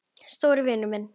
Stóri vinur minn.